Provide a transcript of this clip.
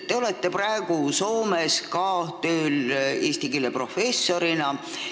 Te olete praegu ka Soomes tööl eesti keele professorina.